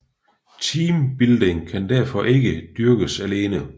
Teambuilding kan derfor ikke dyrkes alene